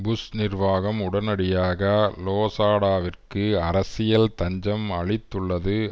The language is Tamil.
புஷ் நிர்வாகம் உடனடியாக லோசாடாவிற்கு அரசியல் தஞ்சம் அளித்துள்ளது